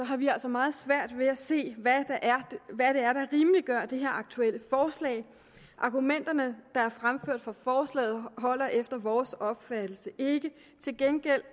har vi altså meget svært ved at se hvad det er der rimeliggør det her aktuelle forslag argumenterne der er fremført for forslaget holder efter vores opfattelse ikke til gengæld